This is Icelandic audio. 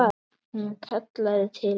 Hún kallaði til hans.